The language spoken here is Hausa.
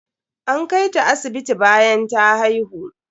An kai ta asibiti bayan ta haihu.